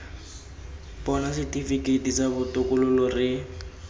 bona setifikeiti sa botokololo re